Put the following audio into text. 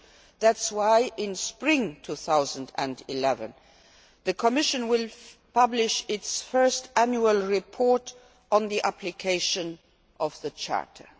With this in mind, in spring 2011, the Commission will publish its first annual report on the application of the charter.